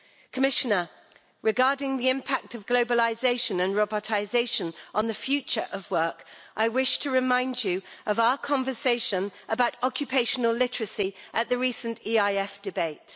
Commissioner, regarding the impact of globalisation and robotisation on the future of work, I wish to remind you of our conversation about occupational literacy at the recent EIF debate.